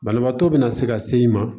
Banabaatɔ bɛna se ka se i ma